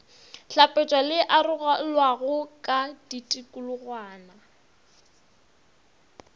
hlapetšwa le arolwago ka ditikologwana